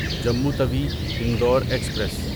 Jammu Tawi Indore express